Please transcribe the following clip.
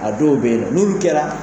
A dɔw bɛ yen min kɛra